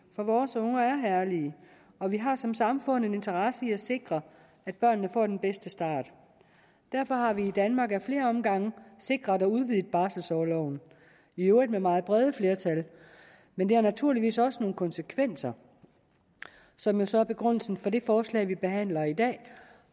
for vores unger er herlige og vi har som samfund en interesse i at sikre at børnene får den bedste start derfor har vi i danmark i flere omgange sikret og udvidet barselsorloven i øvrigt med meget brede flertal men det har naturligvis også nogle konsekvenser som så er begrundelsen for det forslag vi behandler i dag